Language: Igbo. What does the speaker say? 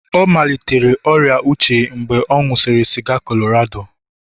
ọ malitere ọrịa uche mgbe ọ na-aṅụ sịga Colorado